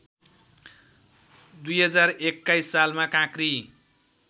२०२१ सालमा काँक्री